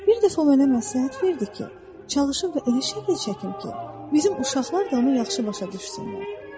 Bir dəfə o mənə məsləhət verdi ki, çalışım və elə şəkillər çəkim ki, bizim uşaqlar da onu yaxşı başa düşsünlər.